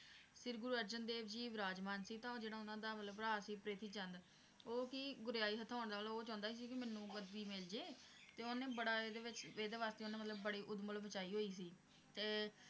ਸ਼੍ਰੀ ਗੁਰੂ ਅਰਜਨ ਦੇਵ ਜੀ ਵਿਰਾਜਮਾਨ ਸੀ ਤਾਂ ਜਿਹੜਾ ਉਹਨਾਂ ਦਾ ਮਤਲਬ ਭਰਾ ਸੀ ਪ੍ਰਿਥੀ ਚੰਦ, ਉਹ ਕਿ ਗੁਰਿਆਈ ਹਥਿਆਉਣ ਨਾਲ ਉਹ ਚਾਹੁੰਦਾ ਹੀ ਸੀ ਕਿ ਮੈਨੂੰ ਗੱਦੀ ਮਿਲਜੇ ਤੇ ਓਹਨੇ ਬੜਾ ਇਹਦੇ ਵਿਚ ਇਹਦੇ ਵਾਸਤੇ ਮਤਲਬ ਉਂਦੇ ਬੜੀ ਊਧਮ ਮਚਾਈ ਹੋਈ ਸੀ ਤੇ